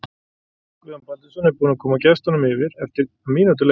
Guðjón Baldvinsson er búinn að koma gestunum yfir eftir um mínútu leik!